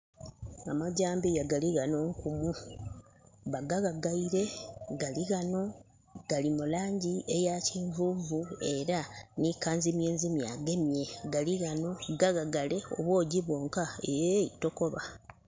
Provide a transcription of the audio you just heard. Amajambiya galighano... Bagawagaile, galighano. Gali mu langi eya kinvunvu era ni kanzimyezimye agamye. Gali ghano. Gawagale, obwoojji bwonka, eeh tokoba